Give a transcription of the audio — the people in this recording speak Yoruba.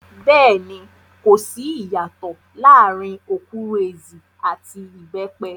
Bẹ́ẹ̀ni, kò sí ìyàtòọ̀ láàrin okwuru-ezi àti ìbẹ́pẹ.